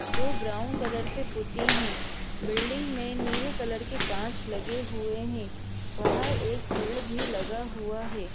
जो brown colour से पोती है बिल्डिंग में नीले कलर के कांच लगे हुए है बाहर एक पेड़ लगा हुआ है।